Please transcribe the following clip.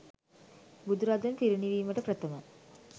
බුදුරදුන් පිරිනිවීමට ප්‍රථම